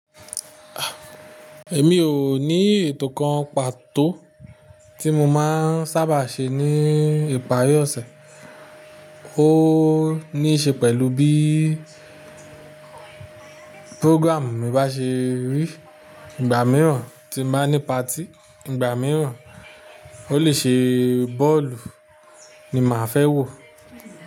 Èmi ò ní ètò kan pàtó tí mo máa ń sábà ṣe ní ìparí ọ̀sẹ̀. Ó ní í ṣe pẹ̀lú bí program mi bá ṣe rí. Ìgbà mìíràn tí n bá ní party, ìgbà mìíràn ó lè ṣe bọ́ọ̀lù ni màá fẹ́ wò.